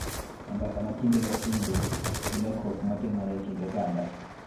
E mbaka ma kinde ka kinde gi lokruok ma timore e kind oganda.